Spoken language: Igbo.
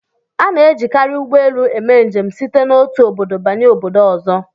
A na-ejikarị ụgbọelu eme njem site n'otu obodo banye obodo ọzọ